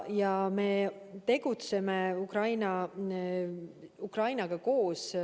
Ja me tegutseme Ukrainaga koos.